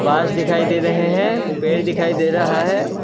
घास दिखाई दे रहे हैं पेड़ दिखाई दे रहा है।